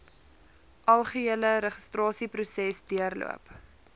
algehele registrasieproses deurloop